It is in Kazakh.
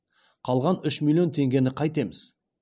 қалған үш миллион теңгені қайтеміз